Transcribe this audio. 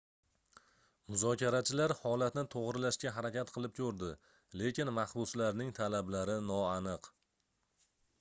muzokarachilar holatni toʻgʻrilashga harakat qilib koʻrdi lekin mahbuslarning talablari noaniq